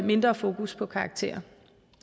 mindre fokus på karakterer